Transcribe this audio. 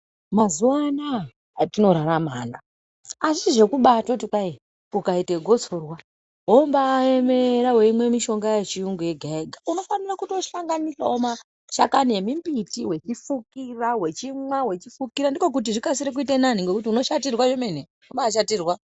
Mazuaanaya atorarama anaya, hazvisi zvekuba totikwayi ukaite gosorwa, wobayemera weyimwe mishonga yechiyungu yega yega, unofanira kutoshanganisa mashakani emimbitiwe uchifukira, uchinwa uchifukira ndikokuti zvikasire zviite nani ngekuti unoshatirwa zvemene, unobashatirwa.